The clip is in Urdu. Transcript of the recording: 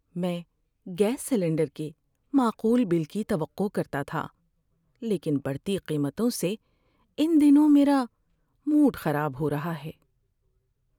میں گیس سلنڈر کے معقول بل کی توقع کرتا تھا، لیکن بڑھتی قیمتوں سے ان دنوں میرا موڈ خراب ہو رہا ہے۔